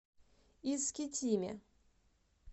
искитиме